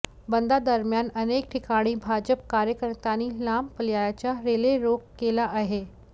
बंदा दरम्यान अनेक ठिकाणी भाजप कार्यकर्त्यांनी लांब पल्ल्याच्या रेले रोक केला आहे